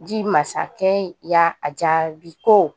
Ji masakɛ ya a jaabi ko